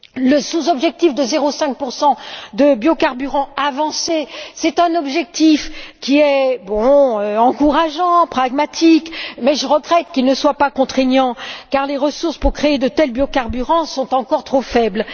Le sous objectif de 0,5 de biocarburants avancés est un objectif encourageant, pragmatique, mais je regrette qu'il ne soit pas contraignant, car les ressources pour créer de tels biocarburants sont encore trop faibles.